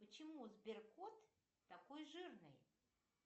почему сберкот такой жирный